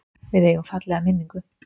Við eigum fallega minningu.